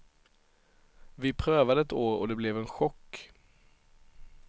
Vi prövade ett år och det blev en chock.